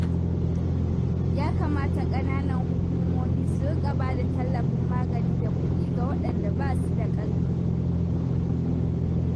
Ya kamata ƙananan hukumomi su riƙa ba da tallafin magani da kuɗi ga waɗanda ba su da ƙarfi.